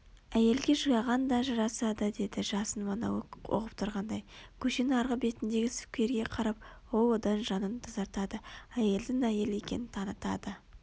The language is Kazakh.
Әйелге жылаған да жарасады деді жасын монолог оқып тұрғандай көшенің арғы бетіндегі скверге қарап ол одан жанын тазартады әйелдің әйел екенін танытады